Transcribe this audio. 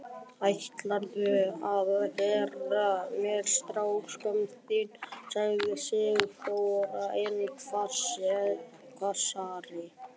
Ætlarðu að gegna mér, strákskömmin þín? sagði Sigþóra enn hvassari.